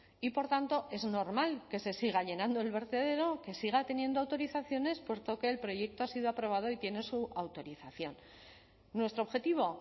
y por tanto es normal que se siga llenando el vertedero que siga teniendo autorizaciones puesto que el proyecto ha sido aprobado y tiene su autorización nuestro objetivo